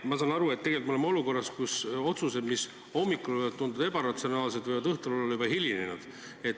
Ma saan aru, et tegelikult me oleme olukorras, kus otsused, mis hommikul võivad tunduda ebaratsionaalsed, võivad õhtul olla juba hilinenud.